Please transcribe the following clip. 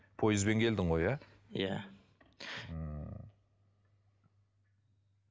пойызбен келдің ғой иә иә ммм